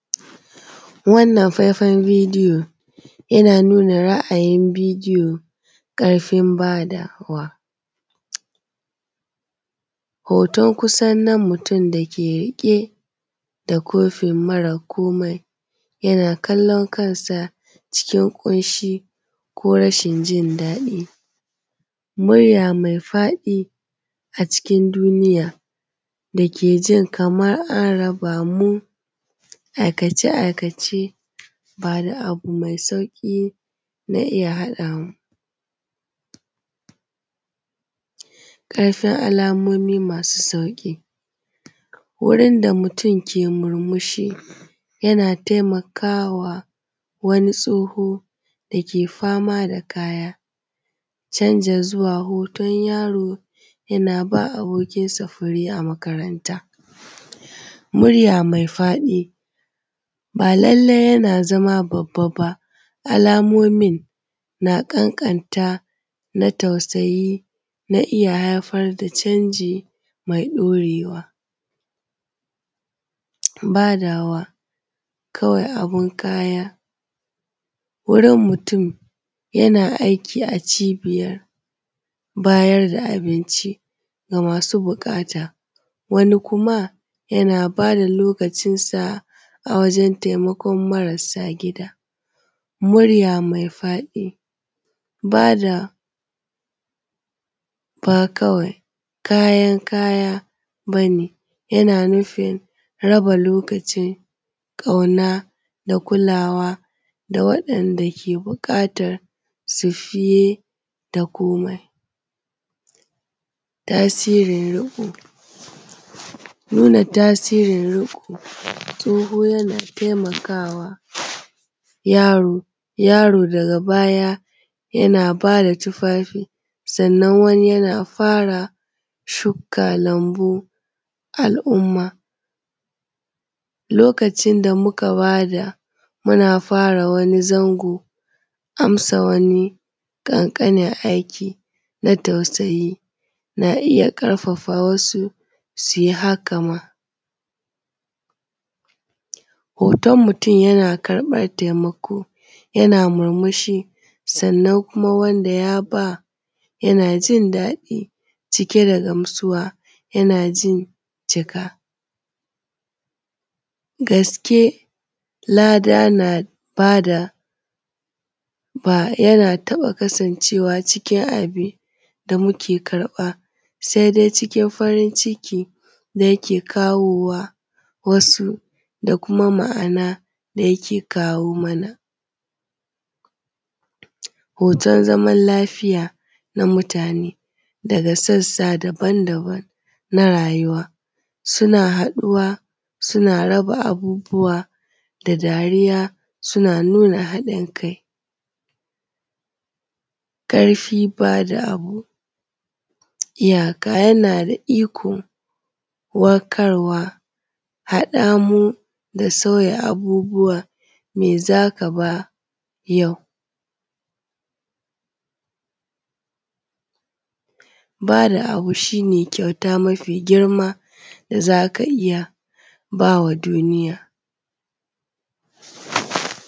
Wannnan faifan bidiyon yana nuna ra’ayin bidiyo ƙarfin badawa, hotan kusan nan mutum dake rike da kofin mara komai yana kallan kansa a cikin ƙunshi ko rashin jindadi, murya maifaɗi a cikin duniya dake jin kaman a raba mu, aikace-aikace ba da abu mai sauƙi na iya haɗa mu, ƙarfin alamomi masu sauƙi, wurin da mutum ke murmushi yana taimakawa wani tsoho da ke fama da sa kaya canja zuwa hotan yaro yana ba abokinsa fure a makaranta. Murya mai fadi ba lallai yana zama babba ba, alamomin na ƙanƙanta na tausayi na iya haifar da canji mai ɗaurewa, badawa akwai abun kaya wurin mutum yana da aiki a cibiyar bayar da abinci ga masu buƙata, wani kuma yana ba da lokacinsa ne da a wajen taimakon marasa gida, murya mai faɗi bada akawai kayan kaya ba ne yana nufin raba lokacin ƙauna da kulawa da waɗanda ke buƙatar su fiye da komai. Tasirin riƙo nuna tasirin riƙo, tsoho yana taiamakawa yaro, yaro daga baya yana bada tufafi sannan wani yana fara shuka lambu, al’umma lokacin da muka bada muna fara wani zango, amsa wani ƙanƙanin aiki na tausayi na iya ƙarfafawa musu su yi haka ma hotan mutum yana karɓan taimako yana murmushi sannann kuma wanda ya ba yana jin daɗi cike da gamsuwa, yana jin cika gaske lada na bada yana taɓa kasancewa cikin abun da muke karɓa sai dai cikin farinciki yake aikowa wasu da kuma ma’ana da yake kawo mana hotan zaman lafiya na mutane daga sassa daban-daban na rayuwa suna haɗuwa suna raba abubuwa da dariya suna nuna hɗin kai, ƙarfi bada abu, iyaka yana da iko warkarwa. Haɗa mu da sauya abubuwa mai za ka bayar, ba da abu shi ne kyauta mafigirma da za ka iya ba ma duniya.